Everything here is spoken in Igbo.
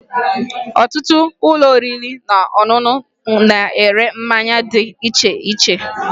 Ọtụtụ ụlọ oriri na ọṅụṅụ na-ere mmanya dị iche iche